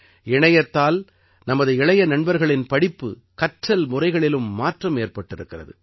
இணையத்தால் நமது இளைய நண்பர்களின் படிப்பு கற்றல் முறைகளிலும் மாற்றம் ஏற்பட்டிருக்கிறது